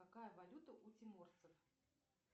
какая валюта у тиморцев